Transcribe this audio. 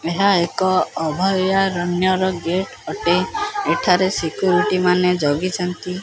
ଏହା ଏକ ଅଭୟାରଣ୍ୟର ଗେଟ୍ ଅଟେ ଏଠାରେ ସେକୁରିଟୀ ମାନେ ଜଗିଛନ୍ତି।।